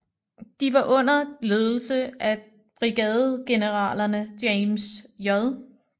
De var under ledelse af brigadegeneralerne James J